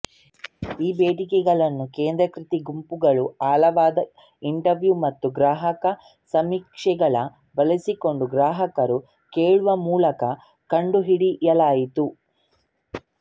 ಈ ಬೇಡಿಕೆಗಳನ್ನು ಕೇಂದ್ರೀಕೃತ ಗುಂಪುಗಳು ಆಳವಾದ ಇಂಟರ್ವ್ಯೂ ಮತ್ತು ಗ್ರಾಹಕ ಸಮೀಕ್ಷೆಗಳು ಬಳಸಿಕೊಂಡು ಗ್ರಾಹಕರು ಕೇಳುವ ಮೂಲಕ ಕಂಡುಹಿಡಿಯಲಾಯಿತು